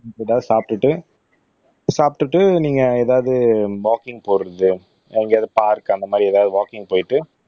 ஏதாவது சாப்பிட்டுட்டு சாப்பிட்டுட்டு நீங்க ஏதாவது வாக்கிங் போறது எங்கேயாவது பார்க் அந்த மாதிரி ஏதாவது வாக்கிங் போயிட்டு